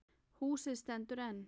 Húsið stendur enn.